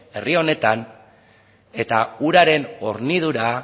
herri honetan eta uraren hornidura